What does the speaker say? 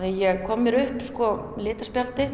ég kom mér upp